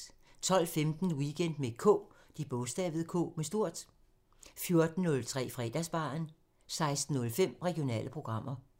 12:15: Weekend med K 14:03: Fredagsbaren 16:05: Regionale programmer